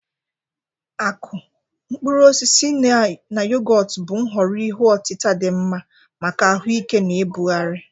Akụ, mkpụrụ osisi, na yogọt bụ nhọrọ ihe otita dị mma maka ahuike na ibugharị.